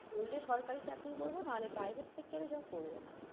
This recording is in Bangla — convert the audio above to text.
করলে সরকারি চাকরিই করবো না হলে private sector এ job করব না